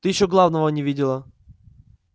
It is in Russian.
ты ещё главного не видела